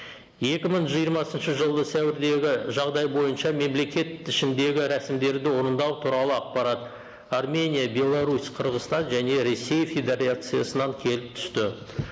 екі мың жиырмасыншы жылғы сәуірдегі жағдай бойынша мемлекет ішіндегі рәсімдерді орындау туралы ақпарат армения беларусь қырғызстан және ресей федерациясынан келіп түсті